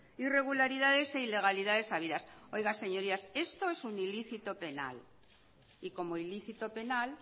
irregularidades e ilegalidades habidas oiga señorías esto es un ilícito penal y como ilícito penal